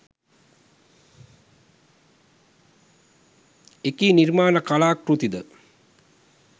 එකී නිර්මාණ කලාකෘති ද